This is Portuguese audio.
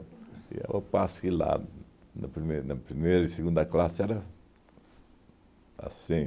E ao passo que lá, na prime na primeira e segunda classe, era assim.